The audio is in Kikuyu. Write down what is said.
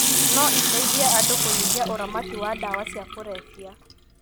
no iteithie andũ kũnyihia ũramati wa ndawa cia kũrebia.